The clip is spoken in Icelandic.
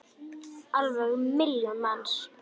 Alveg milljón manns!